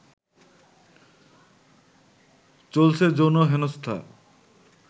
চলছে যৌন হেনস্থা